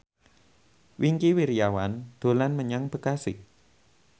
Wingky Wiryawan dolan menyang Bekasi